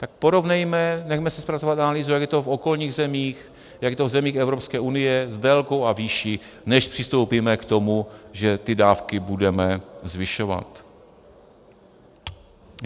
Tak porovnejme, nechme si zpracovat analýzu, jak je to v okolních zemích, jak je to v zemích Evropské unie s délkou a výší, než přistoupíme k tomu, že ty dávky budeme zvyšovat.